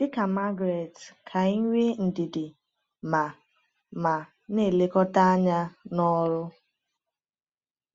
Dị ka Margaret, ka anyị nwee ndidi ma ma na-elekọta anya n’ọrụ.